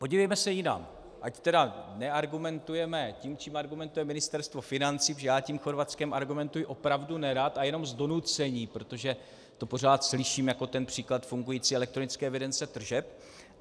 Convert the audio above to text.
Podívejme se jinam, ať tedy neargumentujeme tím, čím argumentuje Ministerstvo financí, protože já tím Chorvatskem argumentuji opravdu nerad a jenom z donucení, protože to pořád slyším jako ten příklad fungující elektronické evidence tržeb.